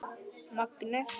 Magnið eða gæðin?